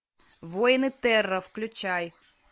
воины терра включай